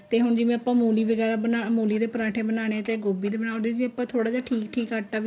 ਤੇ ਹੁਣ ਜਿਵੇਂ ਆਪਾਂ ਮੂਲੀ ਵਗੈਰਾ ਬਣਾ ਮੂਲੀ ਦੇ ਪਰਾਂਠੇ ਬਣਾਨੇ ਏ ਜਾਂ ਗੋਭੀ ਦੇ ਬਣਾਨੇ ਏ ਉਹਦੇ ਲਈ ਆਪਾਂ ਥੋੜਾ ਜਾ ਠੀਕ ਠੀਕ ਆਟਾ ਵੀ